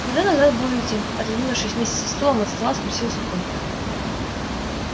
когда назад будете отодвинувшись вместе со стулом от стола спросил сухой